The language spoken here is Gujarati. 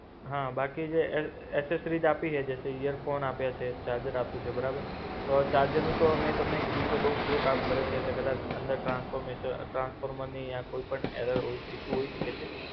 હા બાકી જે એલ એસેસ્રિસ આપી હૈ, જૈસે ઈયરફોન આપ્યા છે ચાર્જર આપ્યું છે બરાબર, તો ચાર્જરનું તો મેં તમને કીધું કે બૌ સ્લો કામ કરે છે એટલે કદાચ અંદર ટ્રાન્સ્ફોર્મે ટ્રાન્સફોર્મરની ય કોઈ પણ એરર હોય ઇશુ હોય શકે છે.